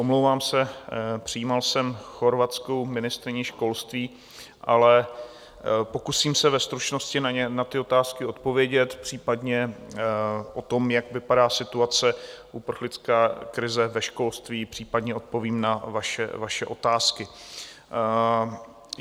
Omlouvám se, přijímal jsem chorvatskou ministryni školství, ale pokusím se ve stručnosti na ty otázky odpovědět, případně o tom, jak vypadá situace uprchlické krize ve školství, případně odpovím na vaše otázky.